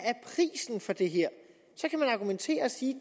for det her så kan man argumentere og sige